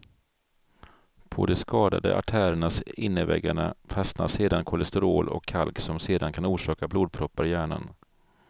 På de skadade artärernas innerväggarna fastnar sedan kolesterol och kalk som sedan kan orsaka blodproppar i hjärnan.